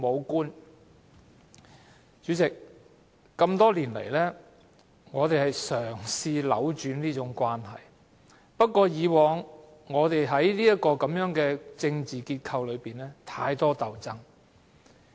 代理主席，多年來，我們嘗試扭轉這種關係，但以往在這個政治結構中，實在太多鬥爭。